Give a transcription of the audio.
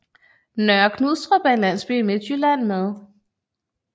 Nørre Knudstrup er en landsby i Midtjylland med